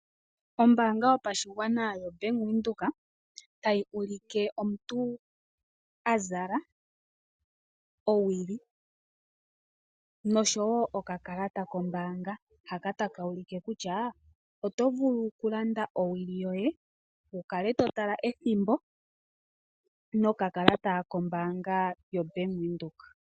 Ombaanga yopa shigwana yobank Windhoek tayi u like omuntu azala owili noshowo okakalata kombaanga haka taka ulike kutya otovulu kulanda owili yoye wukale totala ethimbo nokakalata kombaanga yobank Windhoek.